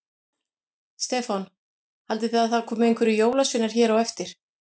Stefán: Haldið þið að það komi einhverjir jólasveinar hér á eftir?